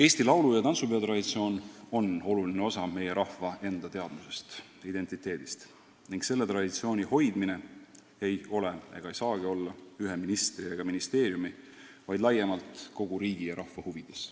" Eesti laulu- ja tantsupeo traditsioon on oluline osa meie rahva endateadmusest, identiteedist, ning selle traditsiooni hoidmine ei ole ega saagi olla ühe ministri ega ministeeriumi huvides, vaid laiemalt kogu riigi ja rahva huvides.